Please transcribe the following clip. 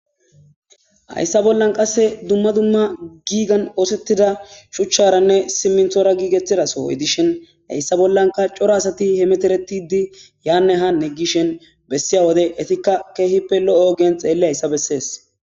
Hayssa bollan qasse dumma dumma giigan oosettida shuchcharanne siminthora giigettidaso hoydishin hayssa bollanka coro asati hemeteretidi yaanne hanne gishen bessiya wode etikka keehippe lo'o geen xeelli hayssa bessees.